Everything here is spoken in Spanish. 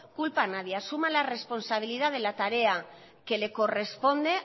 culpa a nadie asume la responsabilidad de la tarea que le corresponde